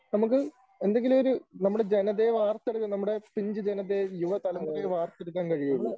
നമുക്ക് എന്തെങ്കിലുമൊരു നമ്മുടെ ജനതയെ വാർത്തെടുക്കാൻ നമ്മുടെ പിഞ്ചു ജനതയെ, യുവതലമുറയെ വാർത്തെടുക്കാൻ കഴിയുകയുള്ളൂ.